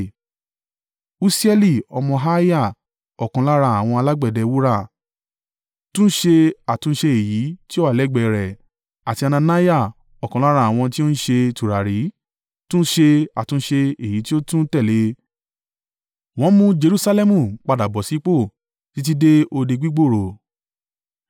Usieli ọmọ Harhiah, ọ̀kan lára àwọn alágbẹ̀dẹ wúrà, túnṣe àtúnṣe èyí tí ó wà lẹ́gbẹ̀ẹ́ rẹ̀; àti Hananiah, ọ̀kan lára àwọn tí ó ń ṣe tùràrí, túnṣe àtúnṣe èyí tí ó tún tẹ̀lé e. Wọ́n mú Jerusalẹmu padà bọ̀ sípò títí dé Odi gbígbòòrò.